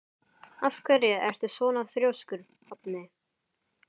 Af hverju ertu svona þrjóskur, Hafni?